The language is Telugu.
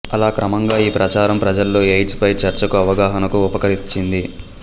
అలా క్రమంగా ఈ ప్రచారం ప్రజల్లో ఎయిడ్స్ పై చర్చకు అవగాహనకు ఉపకరించింది